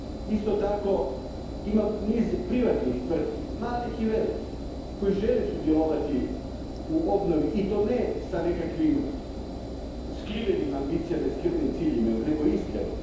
Isto tako imam niz privatnih tvrtki, malih i velikih, koje žele sudjelovati u obnovi i to ne s nekakvim skrivenim ambicijama i skrivenim ciljevima, nego iskreno.